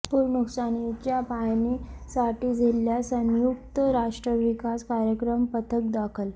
पूर नुकसानीच्या पाहणीसाठी जिल्ह्यात संयुक्त राष्ट्र विकास कार्यक्रम पथक दाखल